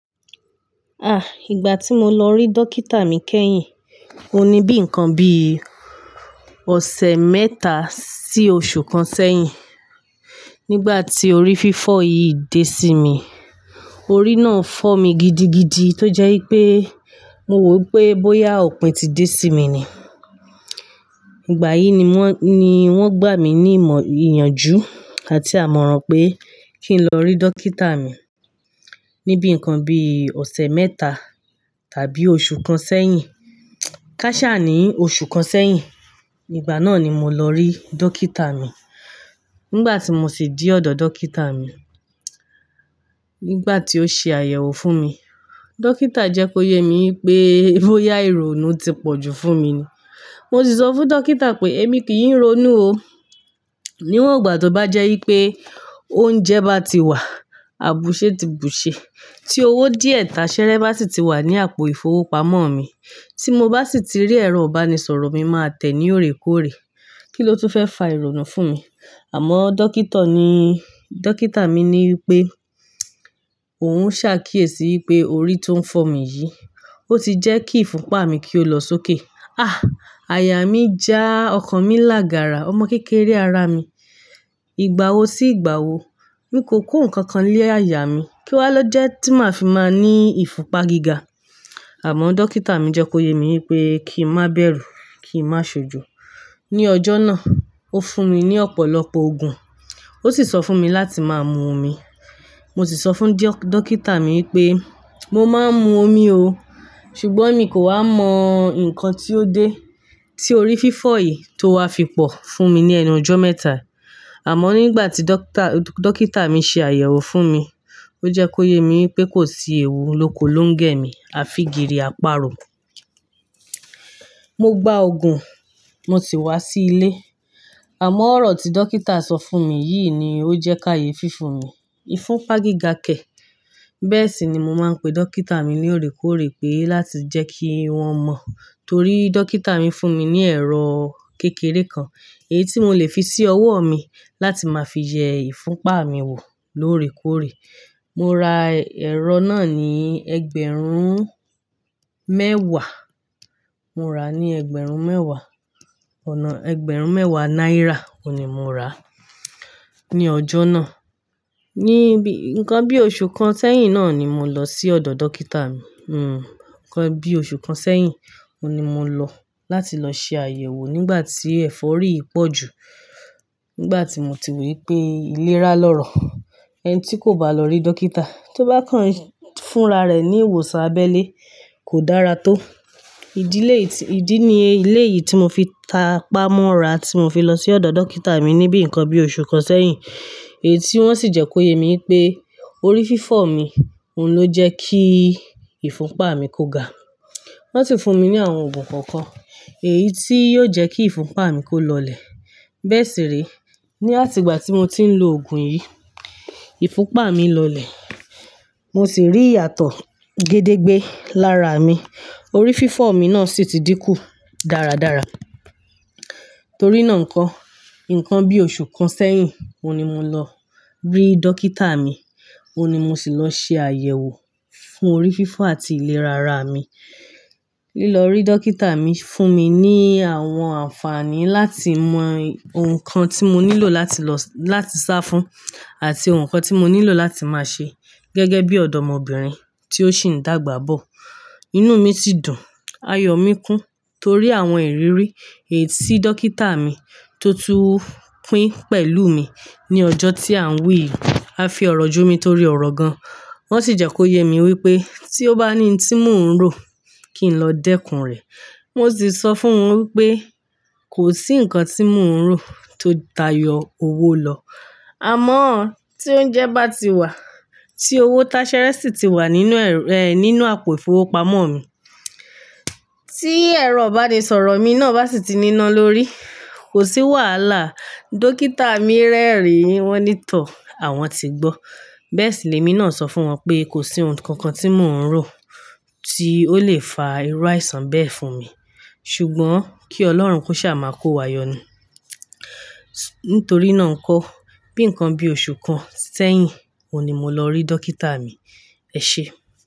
Ah! Ìgbà tí mo lọ rí dókítà mi kẹ́yìn, ó ní bíi nǹkan bíi ọ̀sẹ̀ mẹ́ta sí oṣù kan sẹ́yìn. Nígbà tí orí fífọ́ yìí dé sí mi, orí náà fọ́ mi gidigidi tó jẹ́ wí pé mo wò pé bóyá òpin ti dé sí mi ni. Ìgbà yìí ni wọ́n gbà mí ní ìmọ̀ ìyanjú àti àmọ̀ràn pé kí n lọ rí dókítà mi ní bíi nǹkan bí ọ̀sẹ̀ mẹ́ta tàbí oṣù kan sẹ́yìn. Kásà ní oṣù kan sẹyìn, ìgbà náà ni mo lọ rí dókítà mi. Nígbà tí mo sì dé ọ̀dọ̀ dókítà mi, nígbà tí ó ṣe àyẹ̀wò fún mi, dókítà jẹ́ kó yé mi wí pé bóyá ìrònú ti pọ̀jù fún mi ni. Mo sì sọ fún dókítà pé èmi kì í ronú o. Níwòhó ìgbà tó bá jẹ́ wí pé oúnjẹ bá ti wà, àbùsẹ́ ti bùṣe tí owó díẹ̀ táṣẹ́rẹ́ bá sì ti wà ní àpò ìfowópamọ́ mi, tí mo bá sì ti rí ẹ̀rọ ìbánisọ̀rọ̀ mi máa tẹ̀ ní òrékóòrè. Kí ló tún fẹ́ fa ìrònú fún mi? Àmọ́ dókítà mi wí pé òun ń ṣàkíyèsí pé orí tó ń fọ́ mi yìí, ó ti jẹ́ kí ìfunpa mi kí ó lọ sókè. Ah! Àyà mi já ọkàn mi lá gàrà. Ọmọ kékeré ará mi. Ìgbà wo sí ìgbà wo, mi kò kú nǹkan kan lé àyà mi kí wá lọ́ jẹ́ tí màá fi máa ní ìfunpa gíga. Àmọ́ dókítà mi jẹ́ kó yé mi pé kí n má bẹ̀rù, kí n má ṣojo. Ni ọjọ́ náà ó fún mi ní ọ̀pọ̀lọpọ̀ òògùn, ó sì sọ fún mi láti máa mu omi. Mo sì sọ fún dókítà mi wí pé mo máa ń mu omi o, ṣùgbọ́n mi kò ha mọ nǹkan tí ó dé tí orí fífọ́ yìí tó wá fi pọ̀ fún mi ní ẹnu ọjọ́ mẹ́ta. Àmọ́ nígbà tí dókítà mi ṣe àyẹ̀wò fún mi, ó jẹ́ kó yé mi wí pé kò sí ewu lóko ló ń gẹ̀ mi, a fi kiri áparò. Mo gba òògùn, mo sì wá sí ilé. Àmọ́ ọ̀rọ̀ tí dókítà sọ fún mi yìí ni ó jẹ́ ká ye fífún mi, ìfunpa gíga kẹ̀. Bẹ́ẹ̀ sì ni mo máa ń pe dókítà mi ní òrékóòrè pé láti jẹ́ kí wọ́n mọ̀ torí dókítà mi fún mi ní ẹ̀rọ kékeré kan èyí tí mò lè fi sí ọwọ́ mi láti máa fi jẹ ìfunpa mi wò lóòrèkóòrè. Mo ra ẹ̀rọ náà ní ẹgbẹ̀rún mẹ́wàá. Mo ra ní ẹgbẹ̀rún mẹ́wàá, ọ̀nà ẹgbẹ̀rún mẹ́wàá náírà, òun ni mo ra ní ọjọ́ náà. Ní bíi nǹkan bí oṣù kan sẹ́yìn náà ni mo lọ sí ọ̀dọ̀ dókítà mi. Hmm, nǹkan bí oṣù kan sẹ́yìn, òun ni mo lọ láti lọ ṣe àyẹ̀wò nígbà tí ẹ̀fọ́rí pọ̀jù. Nígbà tí mo ti wò wí pé ilérà lọ̀rọ̀, ẹni tí kò bá lọ rí dókítà tó bá kàn fúnra rẹ̀ ní ìwòsàn abẹ́lé kò dára tó. Ìdí ni ilé yìí tí mo fi ta pamọ́ ra tí mo fi lọ sí ọ̀dọ̀ dókítà mi ní bíi nǹkan bí oṣù kan sẹ́yìn. Èyí tí wọ́n sì jẹ́ kó yé mi wí pé orí fífọ́ mi òun ló jẹ́ kí ìfunpa mi kó ga. Wọ́n sì fún mi ní àwọn òògùn kọ̀ọ̀kan èyí tí yóò jẹ́ kí ìfunpa mi kó lọlẹ̀. Bẹ́ẹ̀ sì rí, ní àti ìgbà tí mo ti ń lo òògùn yìí, ìfunpa mi lọlẹ̀, mo sì rí ìyàtọ̀ gédégbé lára mi. Orí fífọ́ mi náà sì ti dínkù dáradára. Torí náà nǹkan, nǹkan bí oṣù kan sẹyìn òun ni mo lọ rí dókítà mi, òun ni mo sì lọ ṣe àyẹ̀wò fún orí fífọ́ àti ìlera ara mi. Lílọ rí dókítà mi fún mi ní àwọn àǹfààní láti mọ nǹkan tí mo nílò láti lọ láti sá fún àti ohun kan tí mo nílò láti máa ṣe. Gẹ́gẹ́ bí ọ̀dọ́mọbìnrin tí ó ṣì ń dàgbà bọ̀. Inú mi ti dùn, ayọ̀ mi kún torí àwọn ìrírí èyí tí dókítà mi tó túu pín pẹ̀lú mi ní ọjọ́ tí à ń wí yìí. A fi ọ̀rọ̀ ju mi torí ọ̀rọ̀ gan. Wọ́n sì jẹ́ kó yé mi wí pé tí ó bá ní ohun tí mò ń rò kí n lọ dẹ́kun rẹ̀. Mo sì sọ fún òun wí pé kò sí nǹkan tí mò ń rò tó tayọ owó lọ. Àmọ́ tí oúnjẹ bá ti wà, tí owó táṣẹ́rẹ́ sì ti wà nínú nínú àpò ìfowópamọ́ mi, tí ẹ̀rọ ìbánisọ̀rọ̀ mi náà bá sì ti níná lórí, kò sí wàhálà. Dókítà mi rẹ́rìn-ín wọ́n nítòh, àwọn ti gbọ́. Bẹ́ẹ̀ sì ni èmi náà sọ fún wọn pé kò sí ohun kankan tí mò ń rò tí ó lè fa irú àìsàn bẹ́ẹ̀ fún mi. Ṣùgbọ́n kí Ọlọ́run kó ṣà máa kó wa yọnu. Nítorí náà nǹkan, bíi nǹkan bí oṣù kan sẹ́yìn òun ni mo lọ rí dókítà mi. Ẹ ṣé.